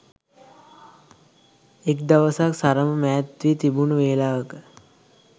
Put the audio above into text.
එක් දවසක් සරම මෑත් වී තිබුණු වෙලාවක